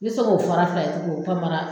Me se k'o fɔra kaye tigiw panpara